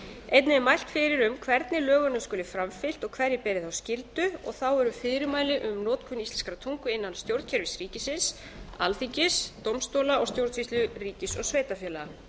einnig er mælt fyrir um hvernig lögunum skuli framfylgt og hverjir beri þá skyldu þá eru fyrirmæli um notkun íslenskrar tungu innan stjórnkerfis ríkisins alþingis dómstóla og stjórnsýslu ríkis og sveitarfélaga